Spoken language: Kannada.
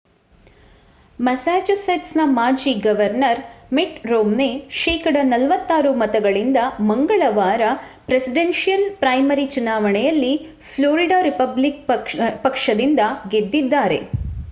ಮಸಾಚುಸೆಟ್ಸ್‌ನ ಮಾಜಿ ಗವರ್ನರ್‌ ಮಿಟ್‌ ರೋಮ್ನೆ ಶೇಕಡಾ 46 ಮತಗಳಿಂದ ಮಂಗಳವಾರ ಪ್ರೆಸಿಡೆನ್ಷಿಯಲ್‌ ಪ್ರೈಮರಿ ಚುನಾವಣೆಯಲ್ಲಿ ಫ್ಲೋರಿಡಾ ರಿಪಬ್ಲಿಕನ್ ಪಕ್ಷದಿಂದ ಗೆದ್ದಿದ್ದಾರೆ